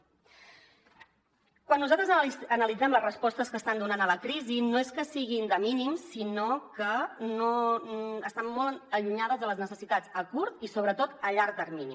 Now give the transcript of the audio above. quan nosaltres analitzem les respostes que estan donant a la crisi no és que siguin de mínims sinó que estan molt allunyades de les necessitats a curt i sobretot a llarg termini